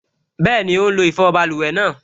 Bẹ́ẹ̀ni, ó n lo ìfọwọ́ báluwẹ̀ náà